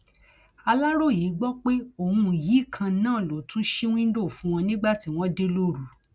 aláròye gbọ pé òun yìí kan náà ló tún ṣí wíńdò fún wọn nígbà tí wọn dé lóru